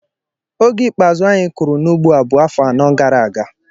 Oge ikpeazụ anyị kụrụ n'ugbo a bụ afọ anọ gara aga.